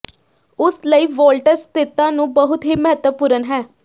ਉਸ ਲਈ ਵੋਲਟਜ ਸਥਿਰਤਾ ਨੂੰ ਬਹੁਤ ਹੀ ਮਹੱਤਵਪੂਰਨ ਹੈ